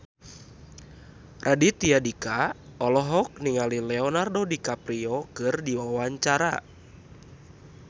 Raditya Dika olohok ningali Leonardo DiCaprio keur diwawancara